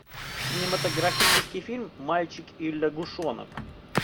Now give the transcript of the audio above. кинематографический фильм мальчик и лягушонок